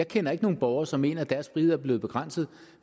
kender ikke nogen borgere som mener at deres frihed er blevet begrænset